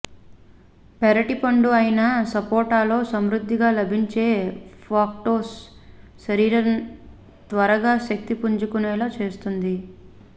పెరటి పండు అయిన సపోటాలో సమృద్ధిగా లభించే ఫ్రక్టోస్ శరీరం త్వరగా శక్తి పుంజుకునేలా చేస్తుంది